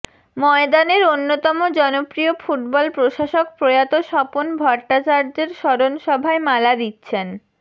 ময়দানের অন্যতম জনপ্রিয় ফুটবল প্রশাসক প্রয়াত স্বপন ভট্টাচার্যের স্মরণ সভায় মালা দিচ্ছেন